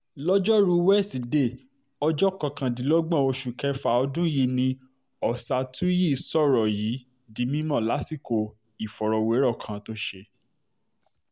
lọ́jọ́rùú wíṣídẹ̀ẹ́ ọjọ́ kọkàndínlọ́gbọ̀n oṣù kẹfà ọdún yìí ni ọ̀ṣátúyí sọ̀rọ̀ yìí di mímọ́ lásìkò ìfọ̀rọ̀wérọ̀ kan tó ṣe